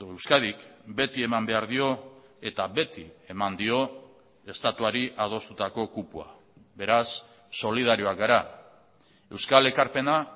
euskadik beti eman behar dio eta beti eman dio estatuari adostutako kupoa beraz solidarioak gara euskal ekarpena